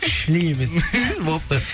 шли емес болыпты